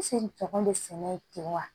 bɛ sɛnɛ ye ten wa